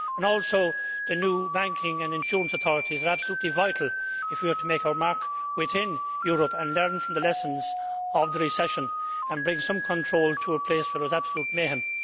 Also, the new banking and insurance authorities are absolutely vital if we are to make our mark within Europe, learn from the lessons of the recession, and bring some control to a place where there was absolute mayhem.